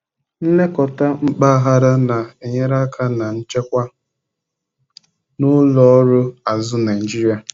nlekọta mpaghara na-enyere aka na nchekwa na ụlọ ọrụ azụ Naijiria.